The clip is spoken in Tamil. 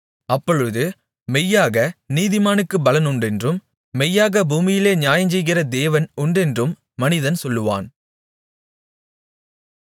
அப்பொழுது மெய்யாக நீதிமானுக்குப் பலன் உண்டென்றும் மெய்யாக பூமியிலே நியாயஞ்செய்கிற தேவன் உண்டென்றும் மனிதன் சொல்லுவான்